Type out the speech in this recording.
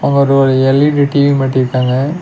அங்க ஒரு ஒர் எல்_இ_டி டி_வி மாட்டிருக்காங்க.